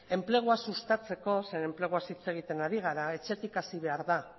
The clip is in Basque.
enplegua sustatzeko zeren enpleguaz hitz egiten ari gara etxetik hasi behar da